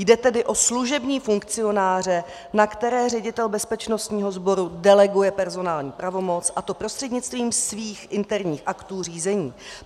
Jde tedy o služební funkcionáře, na které ředitel bezpečnostního sboru deleguje personální pravomoc, a to prostřednictvím svých interních aktů řízení.